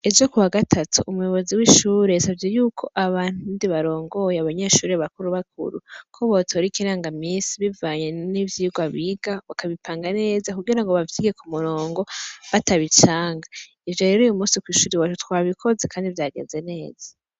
Ejo kuwa gatatu ,umuyobozi w'ishure yasavye yuko abandi barongoye abanyeshure bakuru bakuru, ko botara ikiranga minsi bivanye n'ivyirwa biga bakabipanga neza kugirango bavyige k'umurongo batabicanga, ivyo rero uyumunsi kwishure iwacu twabikoze kandi vyagenze neza.